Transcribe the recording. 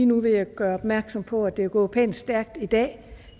nu vil jeg gøre opmærksom på at det er gået pænt stærkt i dag